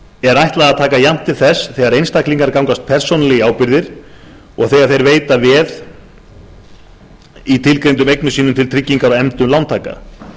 er ætlað að taka jafnt til þess þegar einstaklingar gangast persónulega í ábyrgðir og þegar þeir veita veð í tilgreindum eignum sínum til tryggingar á efndum lántaka